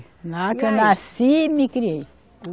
Lá que eu nasci e me criei.